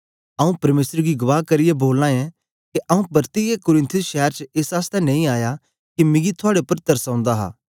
आंऊँ परमेसर गी गवाह करियै बोलाना ऐं के आंऊँ परतियै कुरिन्थुस शैर च एस आसतै नेई आया के मिकी थुआड़े उपर तरस ओंदा हा